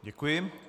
Děkuji.